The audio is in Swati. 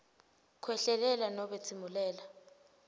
khwehlelela nobe tsimulela